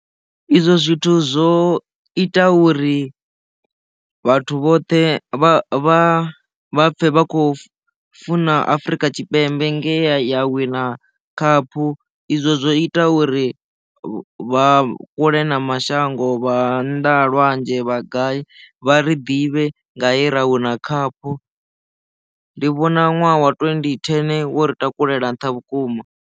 Izwo zwithu zwo ita uri vhathu vhoṱhe vha vha pfhe vha khou funa afrika tshipembe ngea ya wina khaphu izwo zwo ita uri vha vha kule na mashango vha nnḓa lwanzhe vha gai vha ri ḓivhe nga he ra wina khaphu ndi vhona ṅwaha wa twendi thene wo ri takulela nṱha vhukuma.